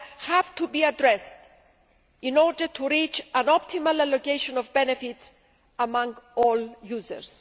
have to be addressed, in order to reach an optimal allocation of benefits among all users.